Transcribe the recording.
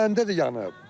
Məndə də yanıb.